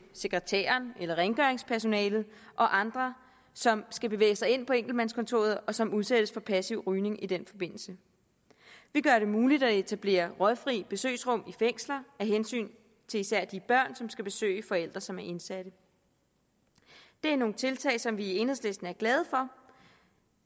sekretæren rengøringspersonalet og andre som skal bevæge sig ind på enkeltmandskontoret og som udsættes for passiv rygning i den forbindelse vi gør det muligt at etablere røgfrie besøgsrum i fængsler af hensyn til især de børn som skal besøge forældre som er indsatte det er nogle tiltag som vi i enhedslisten er glade for